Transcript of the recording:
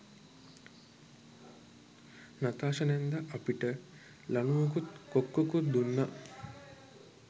Natasha නැන්දා අපිට ලණුවකුත් කොක්කකුත් දුන්නා.